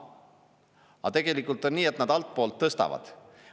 Aga tegelikult on nii, et nad altpoolt tõstavad.